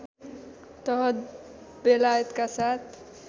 तहत बेलायतका साथ